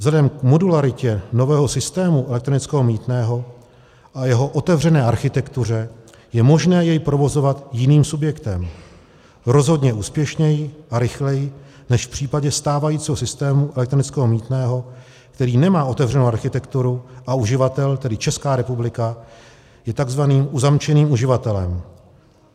Vzhledem k modularitě nového systému elektronického mýtného a jeho otevřené architektuře je možné jej provozovat jiným subjektem rozhodně úspěšněji a rychleji než v případě stávajícího systému elektronického mýtného, který nemá otevřenou architekturu, a uživatel, tedy Česká republika, je tzv. uzamčeným uživatelem.